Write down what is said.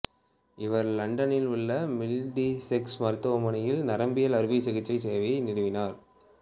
இவர் இலண்டனில் உள்ள மிடில்செக்ஸ் மருத்துவமனையில் நரம்பியல் அறுவை சிகிச்சை சேவையை நிறுவினார்